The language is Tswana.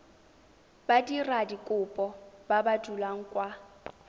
badiradikopo ba ba dulang kwa